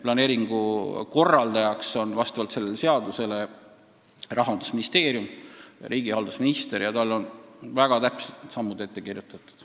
Planeeringu korraldaja on vastavalt sellele seadusele Rahandusministeerium, riigihalduse minister ja tal on väga täpselt kõik sammud ette kirjutatud.